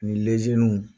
Ni